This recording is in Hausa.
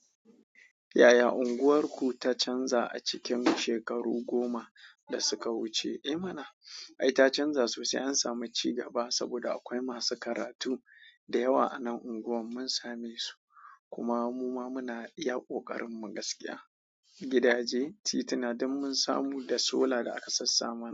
Yaya unguwarku ta canza a cikin shekaru goma da suka wuce? Eh mana, ai ta canza sosai. An sami cigaba saboda akwai masu karatu da yawa a nan unguwar mun same su. Kuma muma muna iya ƙoƙarin mu gaskiya. Gidaje, tituna, duk mun samu, da solar da aka sassa mana.